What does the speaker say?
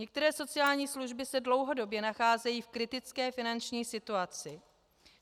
Některé sociální služby se dlouhodobě nacházejí v kritické finanční situaci.